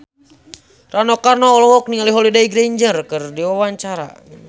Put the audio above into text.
Rano Karno olohok ningali Holliday Grainger keur diwawancara